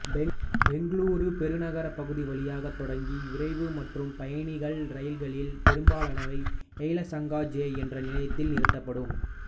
பெங்களூரு பெருநகரப் பகுதி வழியாக தொடங்கி விரைவு மற்றும் பயணிகள் இரயில்களில் பெரும்பாலானவை யெலஹங்கா ஜே என் நிலையத்தில் நிறுத்தப்படும்